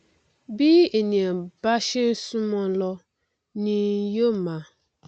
bí ènìà bá ṣe n súnmọnọn lọ ni yó máa